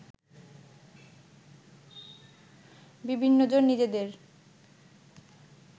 বিভিন্নজন নিজেদের